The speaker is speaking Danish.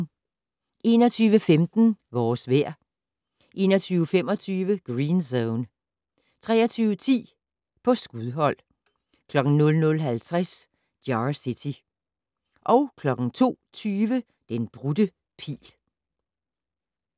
21:15: Vores vejr 21:25: Green Zone 23:10: På skudhold 00:50: Jar City 02:20: Den brudte pil